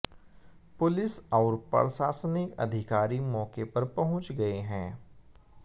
police और प्रशासनिक अधिकारी मौके पर पंहुच गए हैं